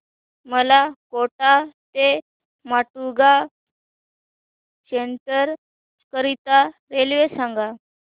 मला कोटा ते माटुंगा सेंट्रल करीता रेल्वे सांगा